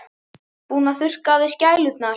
Búinn að þurrka af sér skælurnar.